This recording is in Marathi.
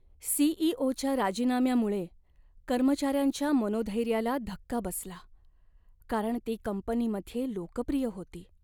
सी.ई.ओ.च्या राजीनाम्यामुळे कर्मचाऱ्यांच्या मनोधैर्याला धक्का बसला, कारण ती कंपनीमध्ये लोकप्रिय होती.